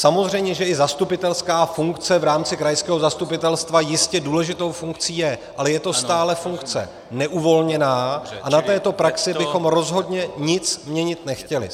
Samozřejmě že i zastupitelská funkce v rámci krajského zastupitelstva jistě důležitou funkcí je, ale je to stále funkce neuvolněná a na této praxi bychom rozhodně nic měnit nechtěli.